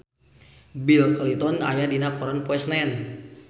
Bill Clinton aya dina koran poe Senen